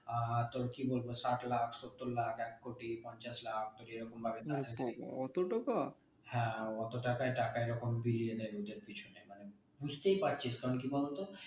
আহ তোর কি বলবো ষাট লাখ সত্তর লাখ এক কোটি পঞ্চাশ লাখ এরকমভাবে হ্যাঁ অত টাকায় বিলিয়ে দেয নিজের পিছনে মানে বুঝতেই পারছিস কারণ কি বলতো